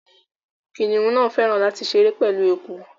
Kiniun náá fẹràn lati ṣere pẹlu awọn eku